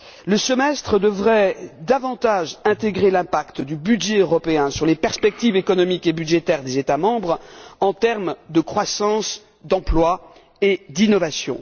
Le semestre devrait davantage intégrer l'impact du budget européen sur les perspectives économiques et budgétaires des États membres en termes de croissance, d'emploi et d'innovation.